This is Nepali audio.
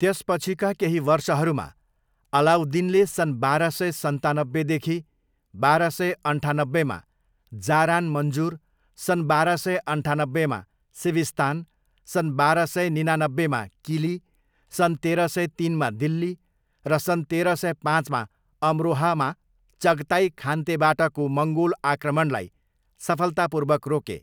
त्यसपछिका केही वर्षहरूमा, अलाउद्दिनले सन् बाह्र सय सन्तानब्बेदेखि बाह्र सय अन्ठानब्बेमा जारान मन्जुर, सन् बाह्र सय अन्ठानब्बेमा सिविस्तान, सन् बाह्र सय निनानब्बेमा किली, सन् तेह्र सय तिनमा दिल्ली, र सन् तेह्र सय पाँचमा अमरोहामा चगताई खानतेबाटको मङ्गोल आक्रमणलाई सफलतापूर्वक रोके।